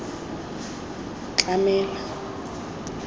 tlamela